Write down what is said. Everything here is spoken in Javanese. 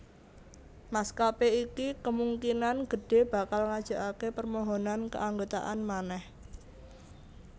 Maskapé iki kemungkinan gedhé bakal ngajokaké permohonan keanggotaan manèh